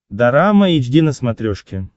дорама эйч ди на смотрешке